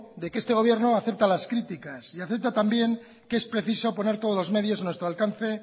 de que este gobierno acepta las críticas y acepta también que es preciso poner todos los medios a nuestro alcance